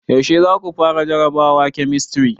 Yaushe za ku fara jarabawar kemistri?